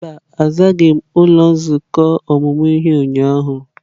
Mba, azaghị m ụlọ nzukọ ọmụmụ ihe ụnyahụ.